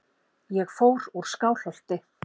Ég fór úr Skálholti.